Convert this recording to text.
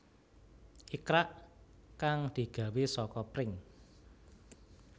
Ikrak kang digawé saka pring